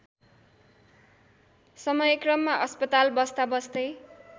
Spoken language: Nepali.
समयक्रममा अस्पताल बस्दा बस्दै